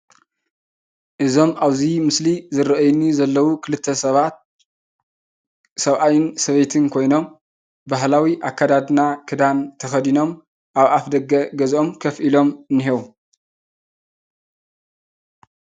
እዞም ኣብዚ ምስሊ እዚ ዝረአዩኒ ዘለዉ ክልተ ሰባት ሰብኣይን ሰበይትን ኮይኖም ባህላዊ ኣከዳድና ክዳን ተኸዲኖም ኣብ ኣፍ ደገ ገዝኦም ኮፍ ኢሎም እንሄዉ፡፡